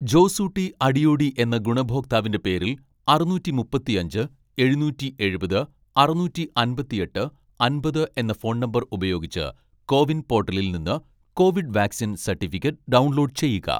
ജോസൂട്ടി അടിയോടി എന്ന ഗുണഭോക്താവിന്റെ പേരിൽ അറുനൂറ്റി മുപ്പത്തിയഞ്ച് എഴുനൂറ്റി എഴുപത് അറുനൂറ്റി അമ്പത്തിയെട്ട് അമ്പത് എന്ന ഫോൺ നമ്പർ ഉപയോഗിച്ച് കോവിൻ പോർട്ടലിൽ നിന്ന് കോവിഡ് വാക്‌സിൻ സർട്ടിഫിക്കറ്റ് ഡൗൺലോഡ് ചെയ്യുക,